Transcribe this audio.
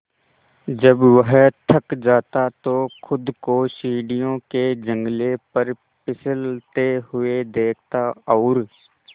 जब वह थक जाता तो खुद को सीढ़ियों के जंगले पर फिसलते हुए देखता और